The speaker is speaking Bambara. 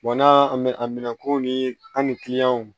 n'a minɛ ko ni an ni